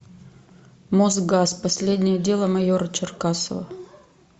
мосгаз последнее дело майора черкасова